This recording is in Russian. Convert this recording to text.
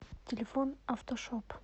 телефон автошоп